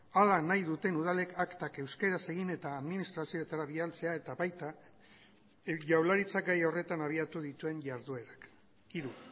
hala nahi duten udalek aktak euskaraz egin eta administrazioetara bidaltzea eta baita jaurlaritzak gai horretan abiatu dituen jarduerak hiru